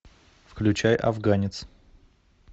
включай афганец